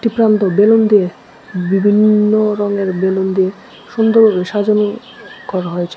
দোকানটি বেলুন দিয়ে বিভিন্ন রঙের বেলুন দিয়ে সুন্দর সাজানো করা হয়েছে।